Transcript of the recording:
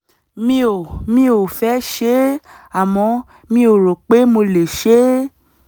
mi ò mi ò fẹ́ ṣe é àmọ́ mi ò rò pé mo lè ṣe é